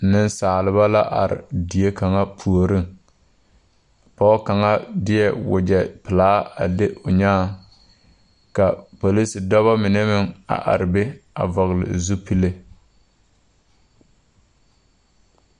Nensalba la are die kaŋa puoriŋ pɔge kaŋa deɛ wagyɛpelaa a le o nyããŋ ka polisidɔba mine meŋ a are be a vɔgle zupile.